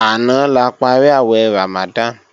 Àná la parí àwẹ̀ Ramadan